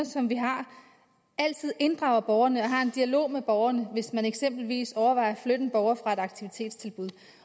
altid inddrager borgerne og har en dialog med borgerne hvis man eksempelvis overvejer at flytte en borger fra et aktivitetstilbud